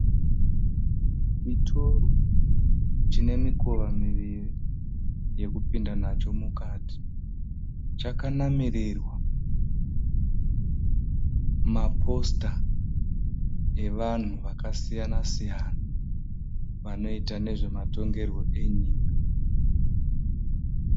Chitoro chinemikova miviri yekupinda nacho mukati. Chakanamirirwa maposita vanhu vakasiyana siyana vanoita nezvematongerwe enyika.